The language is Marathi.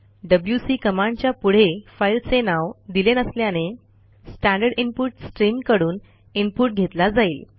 डब्ल्यूसी कमांडच्या पुढे फाईलचे नाव दिले नसल्याने स्टँडर्ड इनपुट स्ट्रीम कडून इनपुट घेतला जाईल